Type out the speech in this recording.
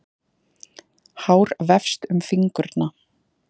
Hár vefst um fingurna.